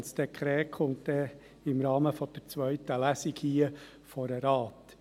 Das Dekret kommt im Rahmen der zweiten Lesung vor den Rat.